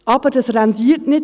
Aber das rentiert nicht.